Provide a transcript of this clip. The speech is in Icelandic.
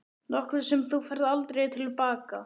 Nokkuð sem þú færð aldrei til baka.